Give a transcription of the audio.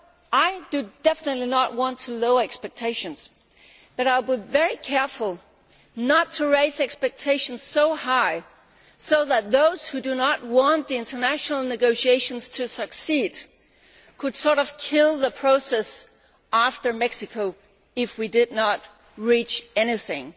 I definitely do not want to lower expectations but I would be very careful not to raise expectations so high so that those who do not want the international negotiations to succeed could kill the process after Mexico if we do not achieve anything.